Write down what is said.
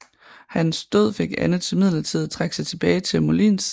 Hans død fik Anne til midlertidigt at trække sig tilbage til Moulins